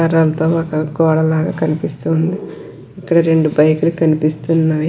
కర్రలతో ఒక గోడ లాగా కనిపిస్తుంది. ఇక్కడ రెండు బైక్ లు కనిపిస్తున్నాయి.